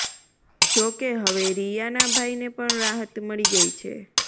જોકે હવે રિયાના ભાઈને પણ રાહત મળી ગઇ છે